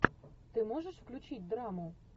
ты можешь включить драму